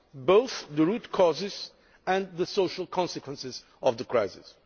both the root causes and the social consequences of the crisis.